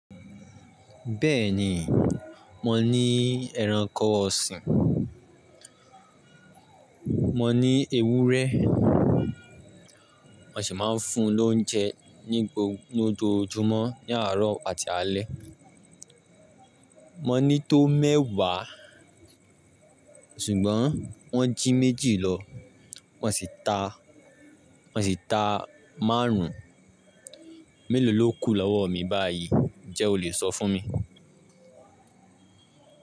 Bẹ́ẹ̀ni, mo ní ẹranko ọ̀sìn, mo ní ewúrẹ́, mo sì máa ń fún-un lóunjẹ ní gbogbo ní ojoojúmọ́ ní àárọ̀ àti alẹ́. Mo ní tó mẹ́wàá ṣùgbọ́n wọ́n jí méjì lọ, mo sì ta, mo sì ta márùn-ún. Mélòó ló kù lọ́wọ́ mi báyìí? Ǹjẹ́ o lè sọ fún mi?